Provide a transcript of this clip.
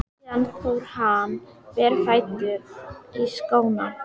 Síðan fór hann berfættur í skóna.